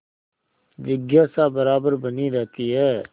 जिज्ञासा बराबर बनी रहती है